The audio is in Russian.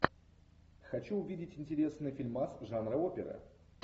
хочу увидеть интересный фильмас жанра опера